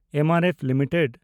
M R F limited